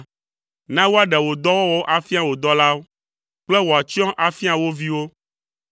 Na woaɖe wò dɔwɔwɔwo afia wò dɔlawo kple wò atsyɔ̃ afia wo viwo.